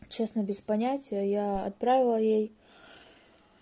честно без понятия я отправила ей